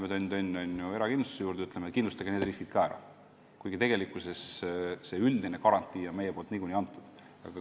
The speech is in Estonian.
Me läheme, tönn-tönn, erakindlustaja juurde ja ütleme, et kindlustage need riskid ka ära, kuigi tegelikkuses oleme me selle üldise garantii niikuinii andnud.